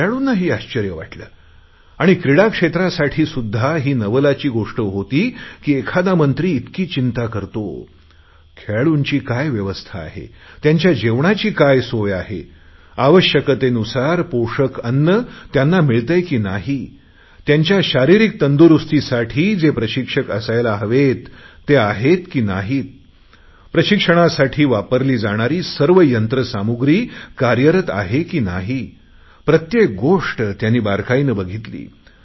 खेळाडूनांही आश्चर्य वाटले आणि क्रीडा क्षेत्रासाठी सुध्दा ही नवलाची गोष्ट होती की एखादा मंत्री इतकी चिंता करतो खेळाडूंची काय व्यवस्था आहे त्यांच्या जेवणाची काय सोय आहे आवश्यकतेनुसार पोषक अन्न त्यांना मिळतेय की नाही त्यांच्या शारिरीक तंदुरुस्तीसाठी जे प्रशिक्षक असायला हवेत ते आहेत की नाही प्रशिक्षणासाठी वापरली जाणारी सर्व यंत्रसामुग्री कार्यरत आहे की नाही प्रत्येक गोष्ट त्यांनी बारकाईने बघितली आहे